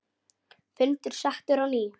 Fundur settur á ný.